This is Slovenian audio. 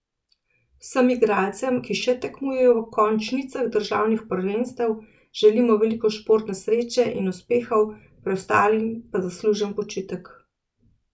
Vsem igralcem, ki še tekmujejo v končnicah državnih prvenstev, želimo veliko športne sreče in uspehov, preostalim pa zaslužen počitek.